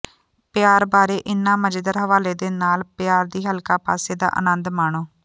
ਪਿਆਰ ਬਾਰੇ ਇਨ੍ਹਾਂ ਮਜ਼ੇਦਾਰ ਹਵਾਲੇ ਦੇ ਨਾਲ ਪਿਆਰ ਦੀ ਹਲਕਾ ਪਾਸੇ ਦਾ ਆਨੰਦ ਮਾਣੋ